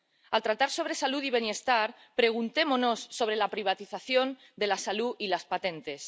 al tratar sobre salud y bienestar, preguntémonos por la privatización de la salud y las patentes